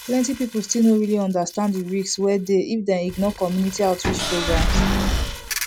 plenty people still no really understand the risk wey dey if dem ignore community outreach programs